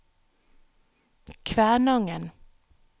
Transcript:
Kvænangen